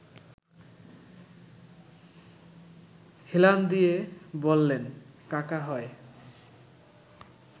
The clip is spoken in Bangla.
হেলান দিয়ে বললেন– কাকা হয়